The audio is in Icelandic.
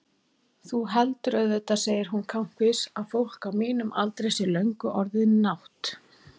Þú heldur auðvitað, segir hún kankvís, að fólk á mínum aldri sé löngu orðið nátt-